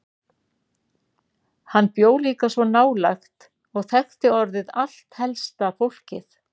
Hann bjó líka svo nálægt og þekkti orðið allt helsta fólkið.